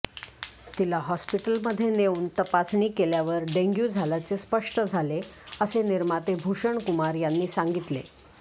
तिला हॉस्पिटल मध्ये नेऊन तपासणी केल्यावर डेंग्यू झाल्याचे स्पष्ट झाले असे निर्माते भूषणकुमार यांनी सांगितले